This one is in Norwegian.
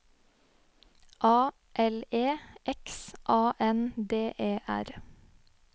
A L E X A N D E R